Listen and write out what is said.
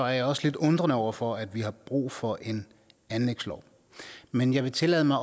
jeg også lidt undrende over for at vi har brug for en anlægslov men jeg vil tillade mig